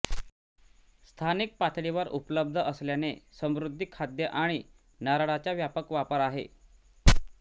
स्थानिक पातळीवर उपलब्ध असल्याने समुद्री खाद्य आणि नारळाचा व्यापक वापर आहे